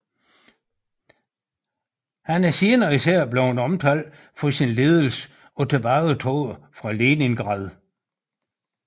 Han er senere især blevet omtalt for sin ledelse af tilbagetoget fra Leningrad